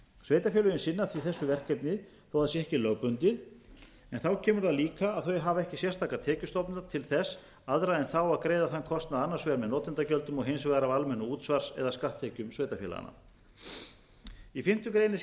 sveitarfélögin sinna því þessu verkefni þó það sé ekki lögbundið en þar kemur líka að þau hafa ekki sérstaklega tekjustofna til þess aðra en þá að greiða þann kostnað annars vegar með notendagjöldum og hins vegar á almennu útsvars eða skatttekjum sveitarfélaganna í fimmtu grein er